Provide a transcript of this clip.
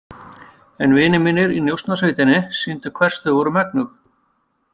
En vinir mínir í Njósnasveitinni sýndu hvers þau voru megnug.